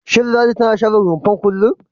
Shin Ladi tana share rumfar kullum?